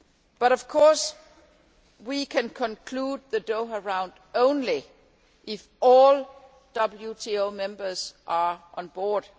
But, of course, we can conclude the Doha Round only if all WTO members are on board.